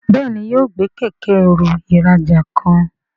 Béèni yóò gbé Kẹ̀kẹ́-ẹrù ìrajà kan.